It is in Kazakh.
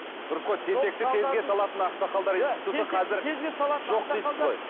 дұрыс қой тентекті тезге салатын ақсақалдар институты қазір жоқ дейсіз ғой